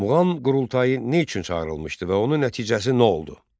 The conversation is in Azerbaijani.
Muğam Qurultayı nə üçün çağırılmışdı və onun nəticəsi nə oldu?